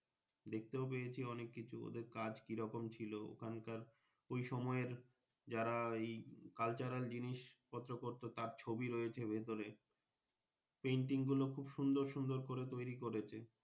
দেখতেও গিয়েছি অনেক কিছু ওদের কাজ কিরকম ছিল ওখান কার ওই সময়ের যারা ওই Cultural আর জিনিস কত কত তার ছবি রয়েছে তার ভেতরে Panting গুলো খুব সুন্দর সুন্দর করে তৈরি করেছে।